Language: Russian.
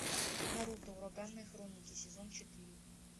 наруто ураганные хроники сезон четыре